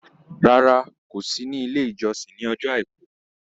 Rárá, kò sí ní ilé-ìjọsìn ní ọjọ́ Àìkú.